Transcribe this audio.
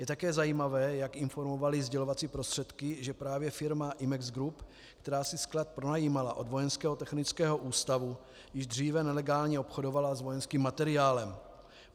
Je také zajímavé, jak informovaly sdělovací prostředky, že právě firma IMEX GROUP, která si sklad pronajímala od Vojenského technického ústavu již dříve, nelegálně obchodovala s vojenským materiálem.